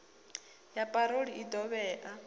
ya parole i ḓo vhea